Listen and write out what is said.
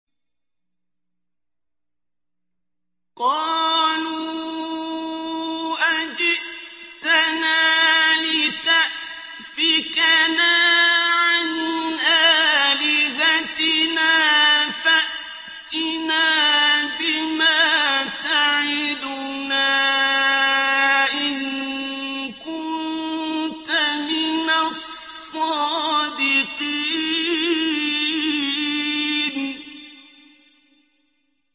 قَالُوا أَجِئْتَنَا لِتَأْفِكَنَا عَنْ آلِهَتِنَا فَأْتِنَا بِمَا تَعِدُنَا إِن كُنتَ مِنَ الصَّادِقِينَ